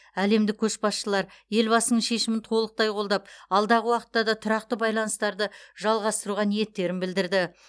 әлемдік көшбасшылар елбасының шешімін толықтай қолдап алдағы уақытта да тұрақты байланыстарды жалғастыруға ниеттерін білдірді